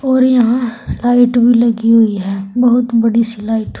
और यहां लाइट भी लगी हुई है बोहोत बड़ी-सी लाइट ।